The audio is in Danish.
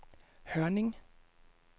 Hørning